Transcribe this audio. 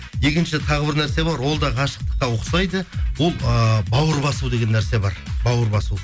екінші тағы бір нәрсе бар ол да ғашықтыққа ұқсайды ол ыыы бауыр басу деген нәрсе бар бауыр басу